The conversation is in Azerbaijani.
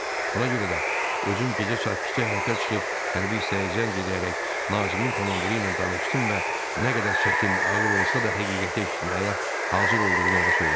Buna görə də özüm gecə sakitcə həyətə çıxıb hərbi hissəyə zəng eləyərək Nazimin komandiri ilə danışdım və nə qədər çətin, ağır olsa da həqiqəti eşitməyə hazır olduğumu ona söylədim.